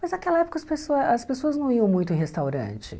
Mas naquela época as pessoa as pessoas não iam muito em restaurante.